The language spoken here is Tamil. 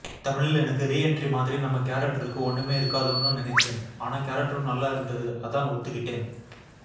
தமிழில் எனக்கு ரீஎன்ட்ரி மாதிரி நம்ம கேரக்டருக்கு ஒண்ணுமே இருக்காதோன்னு நினைச்சேன் ஆனா கேரக்டரும் நல்லா இருந்தது அதான் ஒத்துக்கிட்டேன்